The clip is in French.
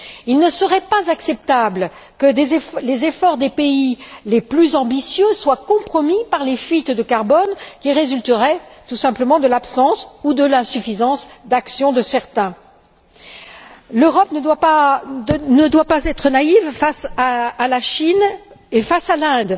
Il ne serait pas acceptable que les efforts des pays les plus ambitieux soient compromis par les fuites de carbone qui résulteraient tout simplement de l'absence ou de l'insuffisance d'action de certains. L'Europe ne doit pas être naïve face à la Chine et face à l'Inde.